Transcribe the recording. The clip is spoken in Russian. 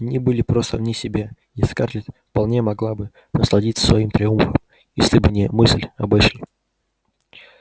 они были просто вне себя и скарлетт вполне могла бы насладиться своим триумфом если бы не мысль об эшли